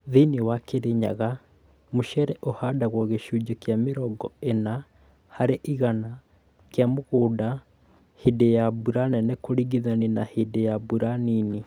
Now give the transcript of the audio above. Thĩinĩ wa Kĩrĩnyaga, mũcere ũhandagwo gĩcunjĩ kĩa mirongo ĩna harĩ igana kĩa mũgũnda hĩndĩ ya mbura nene kũringithania na hĩndĩ ya mbura nini.